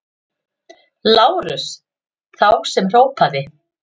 LÁRUS: Þá sem hrópaði!